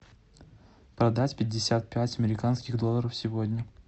продать пятьдесят пять американских долларов сегодня